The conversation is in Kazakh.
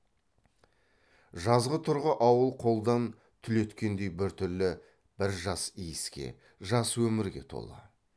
жазғытұрғы ауыл қолдан түлеткендей біртүрлі бір жас иіске жас өмірге толы